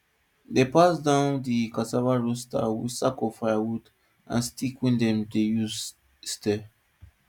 dem pass down di cassava roaster with sack of firewood and old stick wey dem dey use stir